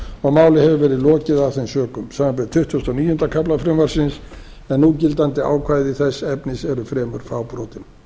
og máli hefur verið lokið af þeim sökum samanber tuttugustu og níunda kafla frumvarpsins en núgildandi ákvæði þess efnis eru fremur fábrotin